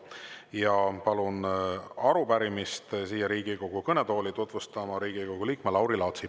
Ja palun arupärimist siia Riigikogu kõnetooli tutvustama Riigikogu liikme Lauri Laatsi.